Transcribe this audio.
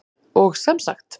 Og sem sagt!